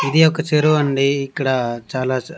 ఇది ఒక చెరువండి ఇక్కడ చాలా చ--